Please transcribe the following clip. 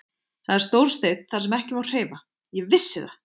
Það er stór steinn þar sem ekki má hreyfa, ég vissi það.